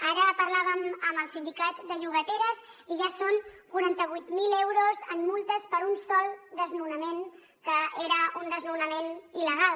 ara parlàvem amb el sindicat de llogateres i ja són quaranta vuit mil euros en multes per un sol desnonament que era un desnonament il·legal